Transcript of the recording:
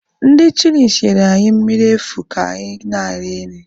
Ndị chịlịs nyere anyị mmiri efu ka anyị na-eri nri.